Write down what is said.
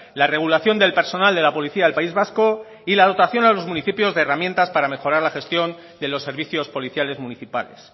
la regulación del personal de la policía del país vasco y la dotación a los municipios de herramientas para mejorar la gestión de los servicios policiales municipales